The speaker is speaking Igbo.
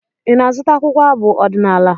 Ị na-azụta akwụkwọ abụ ọdịnaala?